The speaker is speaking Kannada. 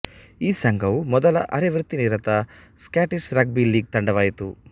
ಈ ಸಂಘವು ಮೊದಲ ಅರೆವೃತ್ತಿನಿರತ ಸ್ಕಾಟಿಷ್ ರಗ್ಬಿ ಲೀಗ್ ತಂಡವಾಯಿತು